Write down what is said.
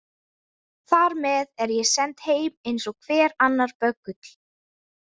Þar með er ég send heim eins og hver annar böggull.